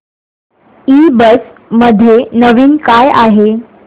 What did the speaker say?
ईबझ मध्ये नवीन काय आहे